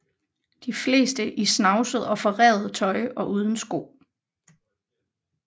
De fleste i snavset og forrevet tøj og uden sko